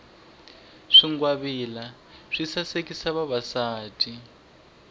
swingwavila swi sasekisa vavasati